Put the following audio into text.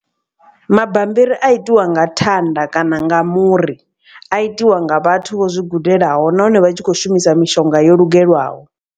Mabambiri a itiwa nga thanda kana nga muri a itiwa nga vhathu vho zwi gudelaho nahone vha tshi kho shumisa mishonga yo lugelwaho.